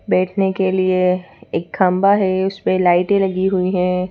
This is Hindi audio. बैठने के लिए एक खांबा है उस पे लाइटें लगी हुई हैं।